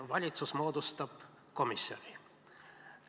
Valitsus moodustab komisjoni.